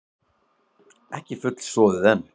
Ekki fullsoðið enn?